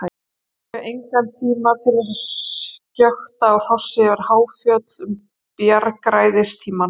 Ég hef engan tíma til þess að skjökta á hrossi yfir háfjöll um bjargræðistímann.